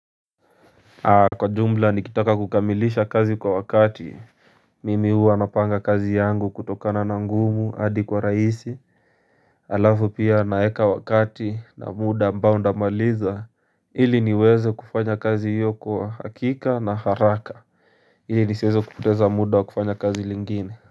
Kwa jumla nikitaka kukamilisha kazi kwa wakati mimi uwa anapanga kazi yangu kutokana na ngumu hadi kwa rahisi alafu pia naweka wakati na muda ambao ndamaliza hili niweze kufanya kazi hiyo kwa hakika na haraka hili nisiweze kupoteza muda wa kufanya kazi lingine.